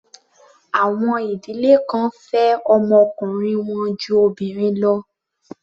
Àwọn ìdílé kan fẹ́ ọmọ ọkùnrin wọn ju obìnrin lọ.